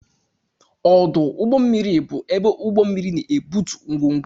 Ọdụ ụgbọ mmiri bụ ebe ụgbọ mmiri na-ebutu ngwongwo.